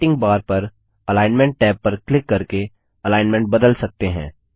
formatting bar पर alignment tab पर click करके अलाइन्मन्ट बदल सकते हैं